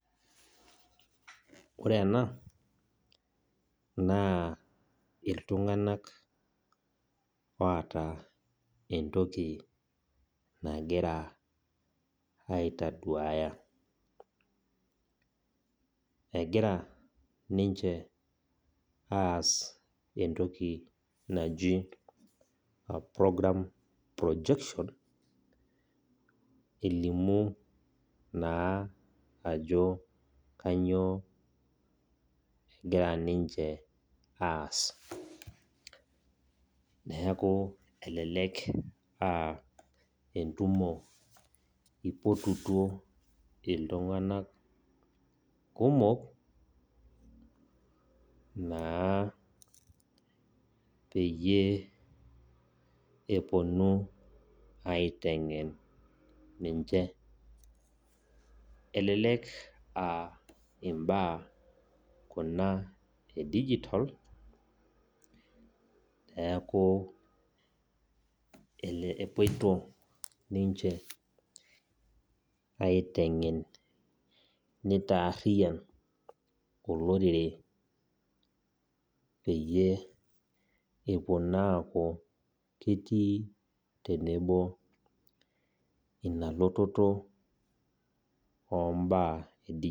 Eunore oondaiki ashuu enkiremore naa enetipat oleng amuu keuwuangie osina nemintoki aisilig likae tungani pee itum entoki ninya. Teniun endaa ino tolchamba naa itumoki aitayu pooki kata ninya nitum ompaka enimir. Niaku ore ena siai naa enetipat oleng. Ore sii teneitushuluni aaun inkaitubuu napaasha tolchamba ana ore tene neuno cabage tenebo okitunguu neret aitopir enkulupuoni